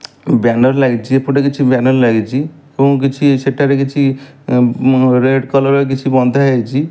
Banner ଲାଗିଚି ଏପଟେ କିଛି ବ୍ୟାନର ଲାଗିଚି ଫୁଣି କିଛି ସେଠାରେ କିଛି ରେଡ କଲର ର କିଛି ବନ୍ଧା ହେଇଚି।